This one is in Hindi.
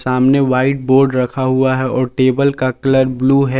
सामने व्हाइट बोर्ड रखा हुआ है और टेबल का कलर ब्लू है।